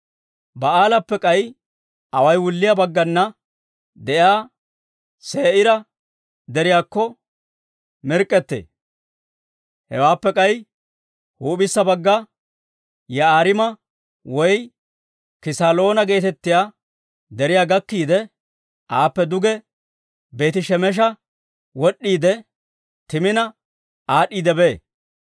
Baa'aalappe k'ay away wulliyaa baggana de'iyaa Se'iira Deriyaakko mirk'k'ettee. Hewaappe k'ay huup'issa bagga Yi'aariima woy Kisaloona geetettiyaa deriyaa gakkiide, aappe duge Beeti-Shemesha wod'd'iide, Timina aad'd'iidde bee.